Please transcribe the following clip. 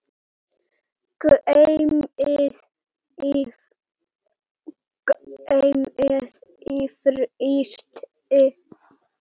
Geymið í frysti.